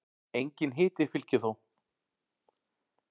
Enginn hiti fylgir þó.